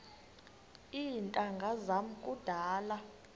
iintanga zam kudala